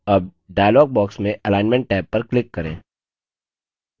tab dialog box में alignment tab पर click करें